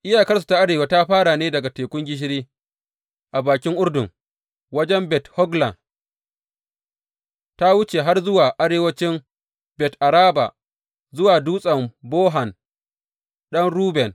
Iyakarsu ta arewa ta fara ne daga Tekun Gishiri a bakin Urdun, wajen Bet Hogla ta wuce har zuwa arewancin Bet Araba, zuwa Dutsen Bohan ɗan Ruben.